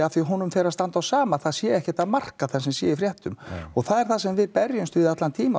því honum fer að standa á sama að það sé ekkert að marka það sem sé í fréttum það er það sem við berjumst við allan tímann